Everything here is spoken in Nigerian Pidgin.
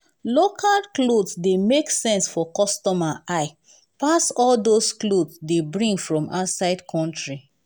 local cloth dey make sense for customer eye pass all dos cloth dey bring from outside country.